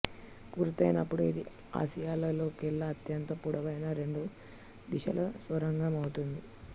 పూర్తయినప్పుడు ఇది ఆసియాలోకెల్లా అత్యంత పొడవైన రెండు దిశల సొరంగం అవుతుంది